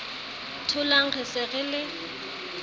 tholang re se re le